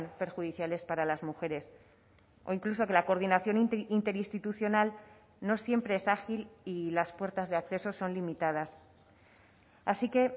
perjudiciales para las mujeres o incluso que la coordinación interinstitucional no siempre es ágil y las puertas de accesos son limitadas así que